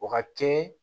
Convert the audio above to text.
O ka teli